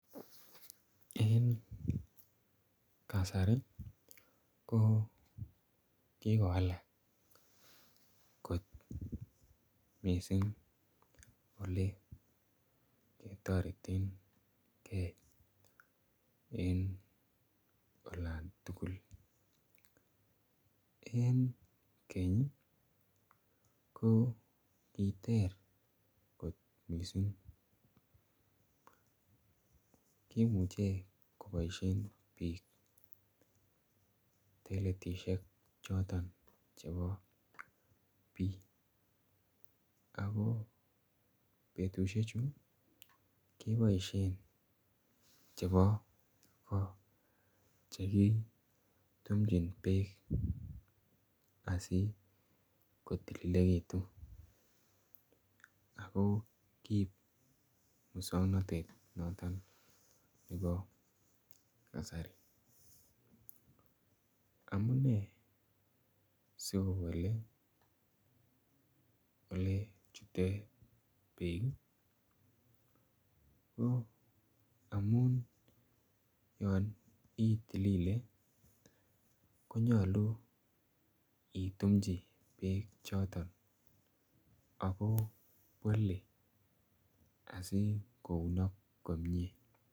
Eng kasari ko kikowalak koot missing ole ketareteen gei en olaan tugul en keeny ii ko koteer koot missing kimuchei koboisien biik toiletisheek chotoon chebo biik ako betusiek chuu kebaisheen chebo koo chekitumjiin beek asi kotililegituun ako koib musangnatet notoon nebo kasari amunei sikowelel ole chutee beek ko amuun yaan itilile konyaluu itumjii beek chotoon ako wale asi kounaak komyei.